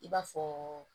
I b'a fɔ